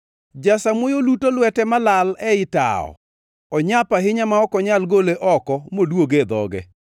Jasamuoyo luto lwete malal ei tawo; onyap ahinya ma ok onyal gole oko moduoge e dhoge.